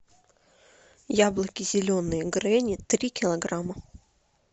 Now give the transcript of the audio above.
яблоки зеленые гренни три килограмма